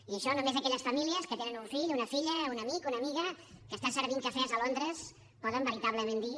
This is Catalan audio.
i això només aquelles famílies que tenen un fill una filla un amic una amiga que està servint cafès a londres poden veritablement dir